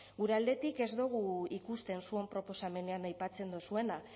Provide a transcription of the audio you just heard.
gure aldetik ez dugu ikusten zuen proposamenean aipatzen duzuena